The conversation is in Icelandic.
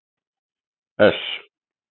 S